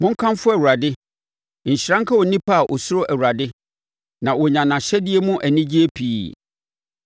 Monkamfo Awurade. Nhyira nka onipa a ɔsuro Awurade na ɔnya nʼahyɛdeɛ mu anigyeɛ pii.